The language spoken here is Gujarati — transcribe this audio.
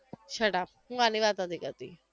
shut up હું આની વાત નથી કરતી